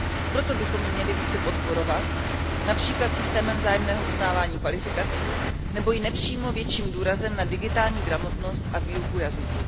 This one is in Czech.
Proto bychom ji měli více podporovat, například systémem vzájemného uznávání kvalifikací nebo i nepřímo větším důrazem na digitální gramotnost a výuku jazyků.